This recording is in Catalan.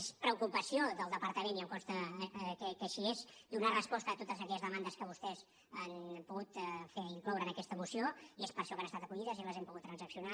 és preocupació del departament i em consta que així és donar resposta a totes aquelles demandes que vostès han pogut fer i incloure en aquesta moció i és per això que han estat recollides i les hem pogut transaccionar